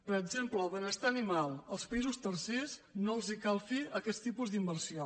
per exemple el benestar animal als països tercers no els cal fer aquest tipus d’inversió